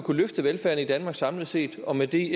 løfte velfærden i danmark samlet set og med det